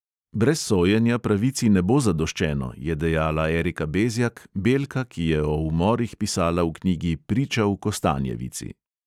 "Brez sojenja pravici ne bo zadoščeno," je dejala erika bezjak, belka, ki je o umorih pisala v knjigi priča v kostanjevici.